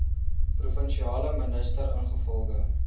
provinsiale minister ingevolge